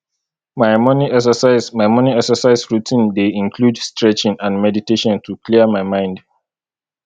my morning exercise my morning exercise routine dey include stretching and meditation to clear my mind